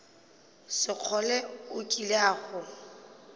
sekgole o kile a go